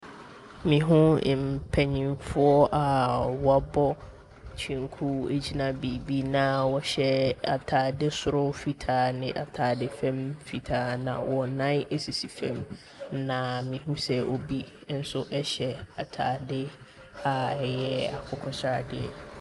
Mehu mpanimfoɔ a wɔabɔ kyenku gyina baabi na wɔhyɛ atade soro fitaa ne atade fam fitaa na wɔn nan sisi fam, na mehu sɛ obi nso hyɛ atade a ɛyɛ akokɔ sradeɛ.